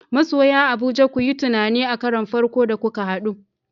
Masoya Abuja ku yi tunani a karon farko da kuka hadu.